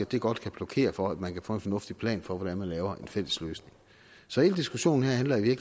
det godt kan blokere for at man kan få en fornuftig plan for hvordan man laver en fælles løsning så hele diskussionen her handler i